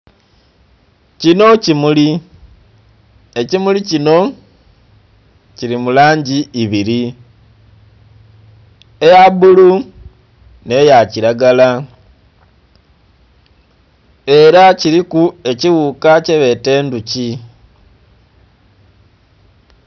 Kinho kimuli, ekimuli kinho kili mu langi ibili eya bulu nhe ya kilagala era kuliku kighuka kibeta endhuki.